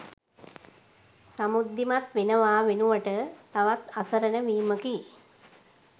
සමෘද්ධිමත් වෙනවා වෙනුවට තවත් අසරණ වීමකි.